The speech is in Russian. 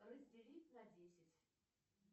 разделить на десять